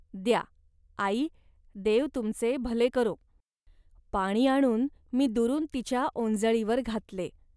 द्या, आई, देव तुमचे भले करो. पाणी आणून मी दुरून तिच्या ओंजळीवर घातले